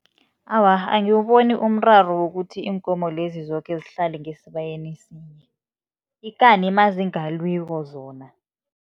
Awa, angiwuboni umraro wokuthi iinkomo lezi zoke zihlale ngesibayeni sinye, ikani nazingalwiko zona.